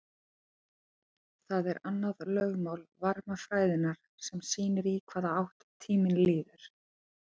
það er annað lögmál varmafræðinnar sem sýnir í hvaða átt tíminn líður